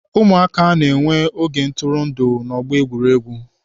Ụmụaka na-enwe oge ntụrụndụ n'ọgbọ egwuregwu.